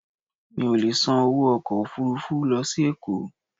Mi ò lè san owó ọkọ̀ Òfurufú lọ sí Èkó.